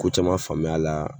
Ko caman faamuya la